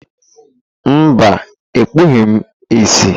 Mba, ekpughị m ìsì.